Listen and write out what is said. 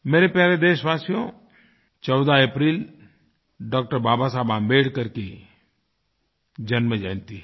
मेरे प्यारे देशवासियो 14 अप्रैल डॉ० बाबा साहब आम्बेडकर की जन्मजयंती है